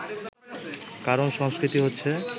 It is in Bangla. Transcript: কারণ, সংস্কৃতি হচ্ছে